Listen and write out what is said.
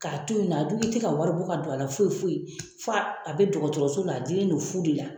K'a to ye nɔ a dun tɛ ka wari bɔ ka don a la foyi foyi fa a bɛ dɔgɔtɔrɔso la a dilen do fu de la.